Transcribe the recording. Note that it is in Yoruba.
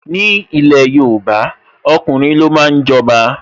Ni ilẹ̀ Yorùbá, ọkùnrin lo máa ń jọba.